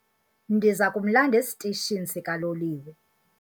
Ndiza kumlanda esitishini sikaloliwe.